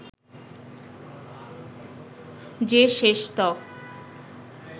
যে শেষতক